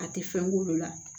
A tɛ fɛn k'olu la